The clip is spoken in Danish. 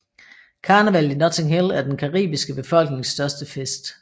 Karnevallet i Notting Hill er den caribiske befolknings største fest